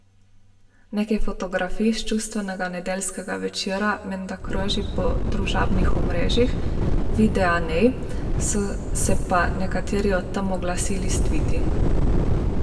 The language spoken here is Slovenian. Nekaj fotografij s čustvenega nedeljskega večera menda kroži na družabnih omrežjih, videa ni, so se pa nekateri od tam oglasili s tviti.